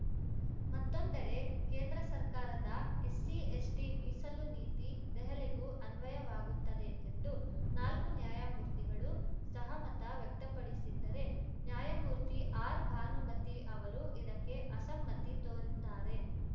ಮತ್ತೊಂದೆಡೆ ಕೇಂದ್ರ ಸರ್ಕಾರದ ಎಸ್ಸಿಎಸ್ಟಿಮೀಸಲು ನೀತಿ ದೆಹಲಿಗೂ ಅನ್ವಯವಾಗುತ್ತದೆ ಎಂದು ನಾಲ್ಕು ನ್ಯಾಯಮೂರ್ತಿಗಳು ಸಹಮತ ವ್ಯಕ್ತಪಡಿಸಿದ್ದರೆ ನ್ಯಾಯಮೂರ್ತಿ ಆರ್‌ ಭಾನುಮತಿ ಅವರು ಇದಕ್ಕೆ ಅಸಮ್ಮತಿ ತೋರಿದ್ದಾರೆ